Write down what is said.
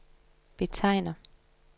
betegner